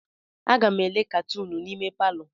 Aga m ele katunu n'ime palọ.